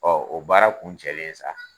Ɔ o baara kun cɛlen sa